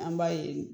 An b'a ye